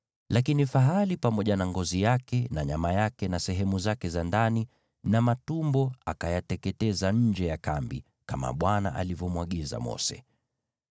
Lakini fahali, ikiwa pamoja na ngozi yake na nyama yake na sehemu zake za ndani na matumbo, akaiteketeza nje ya kambi, kama Bwana alivyomwagiza Mose.